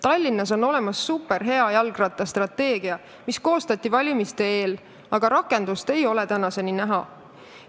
Tallinnas on olemas superhea jalgrattastrateegia, mis koostati valimiste eel, aga rakendust ei ole tänaseni näha.